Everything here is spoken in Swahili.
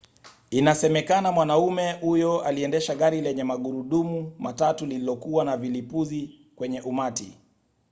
inasemekana mwanamume huyo aliendesha gari lenye magurudumu matatu lililokuwa na vilipuzi kwenye umati